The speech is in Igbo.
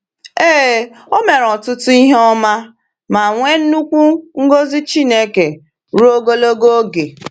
Ee, o mere ọtụtụ ihe ọma ma nwee nnukwu ngọzi Chineke ruo ogologo oge.